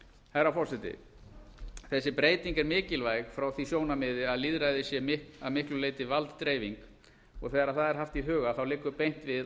herra forseti þessi breyting er mikilvæg frá því sjónarmiði að lýðræði sé að miklu leyti valddreifing og þegar það er haft í huga þá liggur beint við